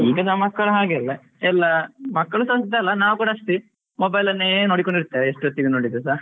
ಈಗಿನ ಮಕ್ಕಳು ಹಾಗೆ ಅಲ್ಲ ಎಲ್ಲಾ ಮಕ್ಕಳು ಅಂತ ಅಲ್ಲ ನಾವ್ಸ ಅಷ್ಟೇ mobile ಅನ್ನೇ ನೋಡಿಕೊಂಡು ಇರ್ತೇವೆ ಎಷ್ಟೊತ್ತಿಗೂ ನೋಡಿದ್ರುಸ.